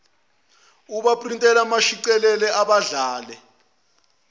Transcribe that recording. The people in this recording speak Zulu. abaprintile abashicilele abadlale